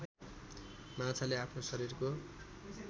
माछाले आफ्नो शरीरको